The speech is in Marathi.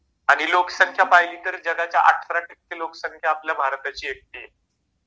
आणि लोकसंख्या पहिली तर जगाच्या अठरा टक्के लोकसंख्या आपल्या भारताची इतकी आहे.